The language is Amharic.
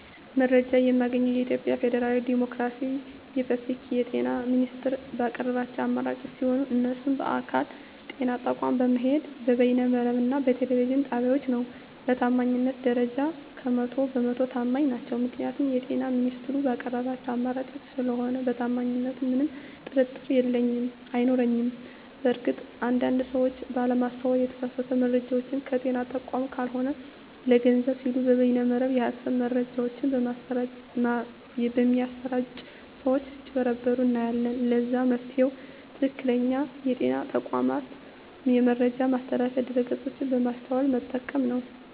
መረጃ የማገኘዉ የኢትዮጵያ ፌደራላዊ ዲሞክራሲያዊ የፐብሊክ የጤና ሚኒስቴር ባቀረባቸዉ አማራጮች ሲሆን እነሱም በአካል (ጤና ተቋማት በመሄድ)፣ በበይነ መረብ እና በቴሌቪዥን ጣቢያወች ነዉ። በታማኝነት ደረጃ 100 በ 100 ተማኝ ናቸዉ ምክንያቱም የጤና ሚኒስቴሩ ባቀረባቸዉ አማራጮች ስለሆነ በታማኝነቱ ምንም ጥርጥር የለኝም አይኖረኝም። በእርግጥ አንድ አንድ ሰወች ባለማስተዋል የተሳሳቱ መረጃወችን ከጤና ተቋማት ካልሆኑ ለገንዘብ ሲሉ በበይነ መረብ የሀሰት መረጃወች በሚያሰራጪ ሰወች ስጭበረበሩ እናያለን ለዛም መፍትሄዉ ትክክለኛዉ የጤና ተቋሙን የመረጃ ማስተላለፊያ ድረገፆች በማስተዋል መጠቀም ነዉ።